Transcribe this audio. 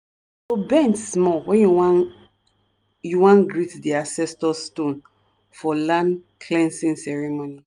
you go bend small when you wan you wan greet di ancestor stone for land-cleansing ceremony.